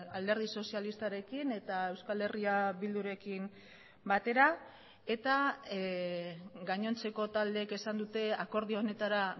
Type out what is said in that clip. alderdi sozialistarekin eta euskal herria bildurekin batera eta gainontzeko taldeek esan dute akordio honetara